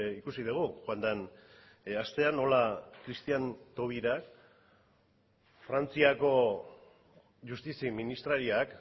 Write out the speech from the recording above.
ikusi dugu joan den astean nola christiane taubira frantziako justizi ministrariak